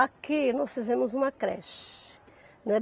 Aqui nós fizemos uma creche.